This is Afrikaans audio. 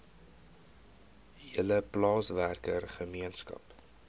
hele plaaswerker gemeenskap